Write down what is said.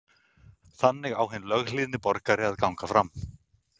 Þannig á hinn löghlýðni borgari að ganga fram.